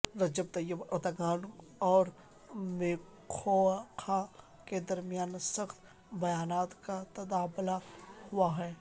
رجب Tayyip Erdogan اور Macron کے درمیان سخت بیانات کا تبادلہ ہوا ہے